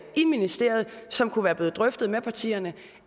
i ministeriet som kunne være blevet drøftet med partierne